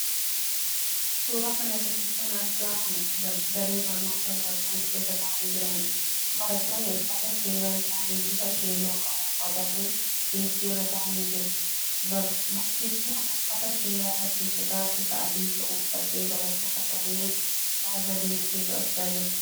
Suuraa kana irratti kana argamu daree barnootaa barattoonni keessa taa'anii jiraniidha. Barattoonni uffata seeraa isaanii bifa keelloo qabu uffatanii deeskii irra taa'anii jiru. Barsiiftuun uffata seeraa barsiisotaa bifa adii qabu uffattee barattoota kanneen irra deemtee to'achaa jirti.